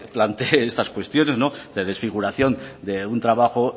plantee estas cuestiones de desfiguración de un trabajo